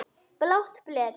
Blátt blek.